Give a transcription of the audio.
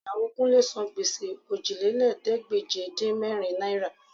Ìyàwó Kúnlé yóò ti gbèsè Òjìlélẹ́ẹ̀ẹ́dégbèje-dín-mẹ́rin náírà